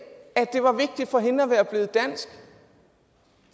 at det var vigtigt for hende at være blevet dansk